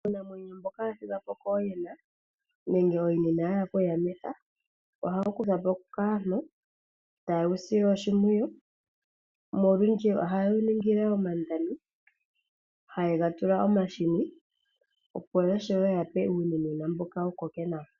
Uunamwenyo mboka wa thigwapo kooyina nenge ooyina inaya hala okuyamitha ohawu kuthwapo kaantu, ta yewu sile oshimpwiyu nolundji oha yewu ningile omandami hayega tula omahini opo yashiwe yape uunimwena mboka wu koke nawa.